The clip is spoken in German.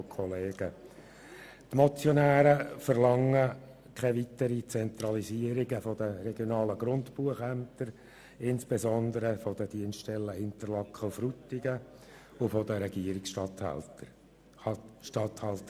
Die Motionäre verlangen keine weitere Zentralisierung der regionalen Grundbuchämter, insbesondere der Dienststellen Interlaken und Frutigen, und der Regierungsstatthalterämter.